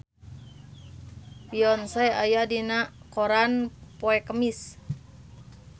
Beyonce aya dina koran poe Kemis